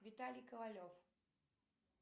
виталий ковалев